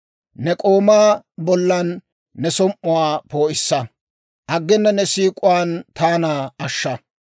Ne k'oomaa bollan ne som"uwaa poo'issa; aggena ne siik'uwaan taana ashsha.